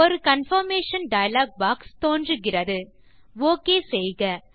ஒரு confirmation dialog box தோன்றுகிறதுஓகே செய்க